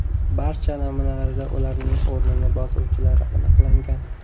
Barcha namunalarda ularning o‘rnini bosuvchilari aniqlangan.